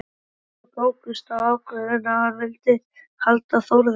Hvenær tók Ágúst þá ákvörðun að hann vildi halda Þórði?